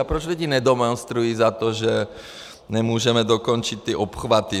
A proč lidi nedemonstrují za to, že nemůžeme dokončit ty obchvaty?